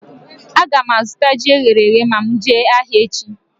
Aga m azụta ji eghere eghe ma m jee ahịa echi